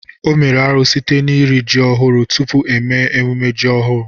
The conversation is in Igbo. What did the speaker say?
O mere árú site n'iri ji ọhu tupu eme mmemme iri ji ọhu.